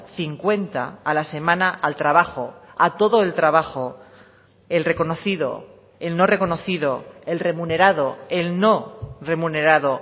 cincuenta a la semana al trabajo a todo el trabajo el reconocido el no reconocido el remunerado el no remunerado